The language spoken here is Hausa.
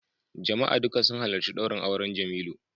Jama'a duka sun halarci daurin auren Jemilu